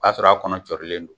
O Y'a sɔrɔ' a kɔnɔ cɔrilen don